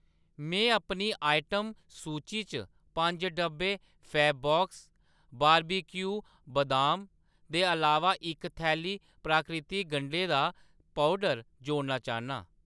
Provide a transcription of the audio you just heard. में अपनी आइटम सूची च पंज डब्बे फैबबॉक्स बारबेक्यू बदाम दे अलावा इक थैली प्राकृतिक गंढें दा पौडर जोड़ना चाह्‌न्नां।